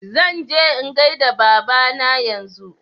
Zan je in gaida Baba na yanzu